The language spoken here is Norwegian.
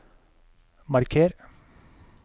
marker